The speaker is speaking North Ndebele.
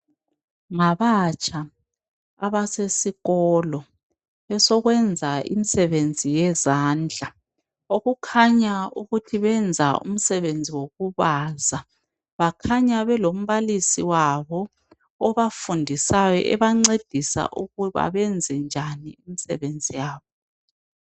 Ngabatsha abasesikolo esokwenza imisebenzi yezandla okukhanya ukuthi be za umsebenzi wokubaza. Bakhanya belombalisi wabo obafundisayo ebancedisa ukuba benze njani imisebenzi yabo